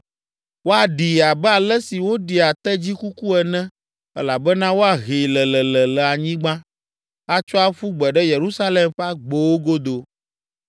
Woaɖii abe ale si woɖia tedzi kuku ene elabena woahee lelele le anyigba, atsɔ aƒu gbe ɖe Yerusalem ƒe agbowo godo.”